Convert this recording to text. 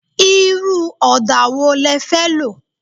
Irú ọdà wo le fẹ́ lo?